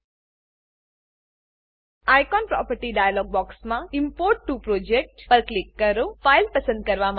icon icon property dialog બોક્સમાં import to project import to project પર click કરો